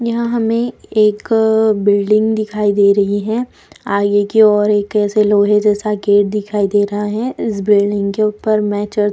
यहाँ हमें एक अ बिल्डिंग दिखाई दे रही है आगे की ओर एक ऐसे लोहे जैसा गेट दिखाई दे रहा है इस बिल्डिंग के ऊपर मैचर --